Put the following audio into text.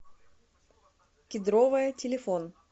кедровая телефон